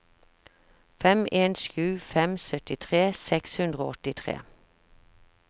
fem en sju fem syttitre seks hundre og åttitre